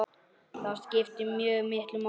Það skiptir mjög miklu máli.